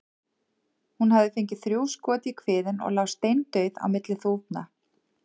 Hún hafði fengið þrjú skot í kviðinn og lá steindauð á milli þúfna.